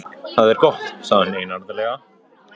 Það er gott sagði hún einarðlega.